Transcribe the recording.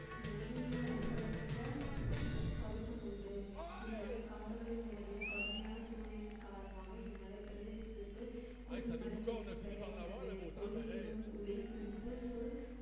மொழியியல் அடிப்படையற்ற கருத்தும் உண்டு இம்மலை காடுகளில் நிலவிய கடுமையான சூழ்நிலையின் காரணமாக இம்மலை பிரதேசத்திற்கு கொல்லிமலை என்று பெயர் வந்தது கொல் என்ன ஒலி குறிப்புச் சொல்